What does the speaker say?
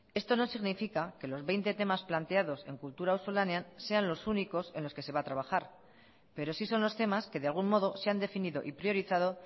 esto no significa que los veinte temas planteados en kultura auzolanean sean los únicos en los que se va a trabajar pero sí son los temas que de algún modo se han definido y priorizado